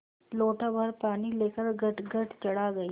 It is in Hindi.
लोटाभर पानी लेकर गटगट चढ़ा गई